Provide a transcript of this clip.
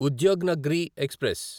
Udyognagari express